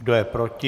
Kdo je proti?